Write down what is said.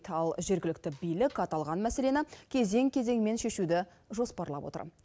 ал жергілікті билік аталған мәселені кезең кезеңмен шешуді жоспарлап отыр